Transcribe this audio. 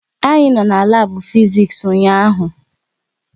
Anyị no na labu Fiziks ụnyaahụ